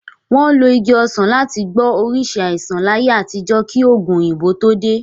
Wọ́n lo Igi ọsan láti gbọ́ oríṣìí àìsàn láyé àtijọ́ kí òògun òyìnbó tó dé.